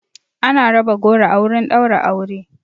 Ana raba goro a wurin ɗaura aure